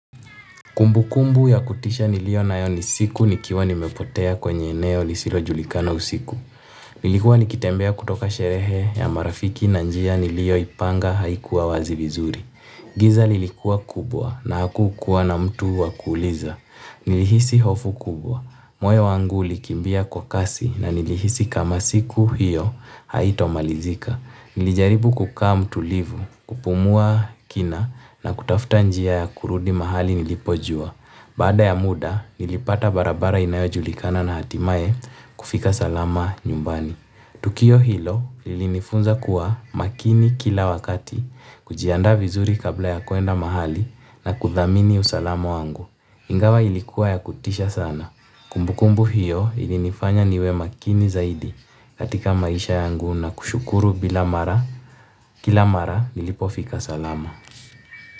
Kumbukumbu ya kutisha niliyo nayo ni siku nikiwa nimepotea kwenye eneo lisilojulikana usiku. Nilikuwa nikitembea kutoka sherehe ya marafiki na njia niliyoipanga haikuwa wazi vizuri. Giza lilikuwa kubwa na hakukuwa na mtu wa kuuliza. Nilihisi hofu kubwa. Moyo wangu ulikimbia kwa kasi na nilihisi kama siku hiyo haitamalizika. Nilijaribu kukaa mtulivu, kupumua kina na kutafuta njia ya kurudi mahali nilipojua. Baada ya muda, nilipata barabara inayojulikana na hatimaye kufika salama nyumbani. Tukio hilo lilinifunza kuwa makini kila wakati, kujiandaa vizuri kabla ya kwenda mahali na kuthamini usalama wangu. Ingawa ilikuwa ya kutisha sana. Kumbukumbu hiyo ilinifanya niwe makini zaidi katika maisha yangu na kushukuru bila mara kila mara nilipofika salama.